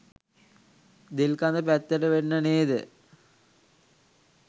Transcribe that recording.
දෙල්කඳ පැත්තට වෙන්න නේද?